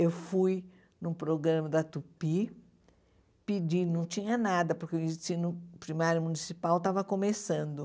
Eu fui no programa da Tupi, pedi, não tinha nada, porque o ensino primário municipal estava começando.